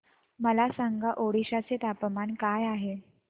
मला सांगा ओडिशा चे तापमान काय आहे